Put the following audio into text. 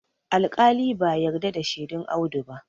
alƙali ba yarda da shedun Audu ba